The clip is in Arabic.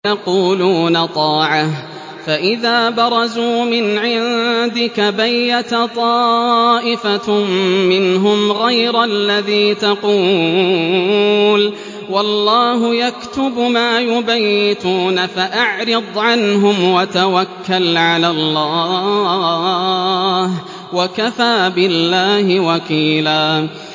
وَيَقُولُونَ طَاعَةٌ فَإِذَا بَرَزُوا مِنْ عِندِكَ بَيَّتَ طَائِفَةٌ مِّنْهُمْ غَيْرَ الَّذِي تَقُولُ ۖ وَاللَّهُ يَكْتُبُ مَا يُبَيِّتُونَ ۖ فَأَعْرِضْ عَنْهُمْ وَتَوَكَّلْ عَلَى اللَّهِ ۚ وَكَفَىٰ بِاللَّهِ وَكِيلًا